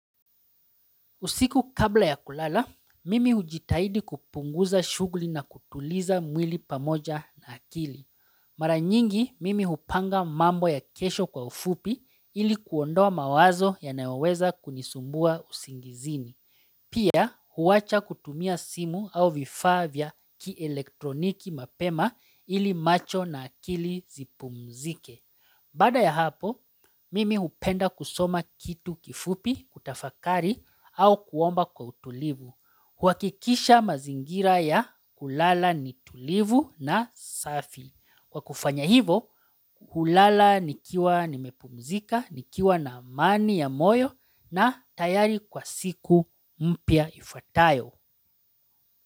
Usiku kabla ya kulala, mimi hujitahidi kupunguza shughuli na kutuliza mwili pamoja na akili. Mara nyingi, mimi hupanga mambo ya kesho kwa ufupi ili kuondoa mawazo yanayoweza kunisumbua usingizini. Pia, huwacha kutumia simu au vifaa vya ki elektroniki mapema ili macho na akili zipumzike. Baada ya hapo, mimi hupenda kusoma kitu kifupi, kutafakari, au kuomba kwa utulivu. Kuhakikisha mazingira ya kulala ni tulivu na safi. Kwa kufanya hivo, hulala nikiwa nimepumzika, nikiwa na amani ya moyo na tayari kwa siku mpya ifuatayo.